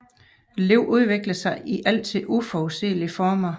Livet udvikler sig i altid uforudsigelige former